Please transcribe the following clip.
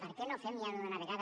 per què no fem ja d’una vegada